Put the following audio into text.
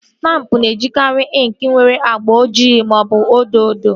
Stampụ na-ejikari inki nwere agba ojii maọbụ odo odo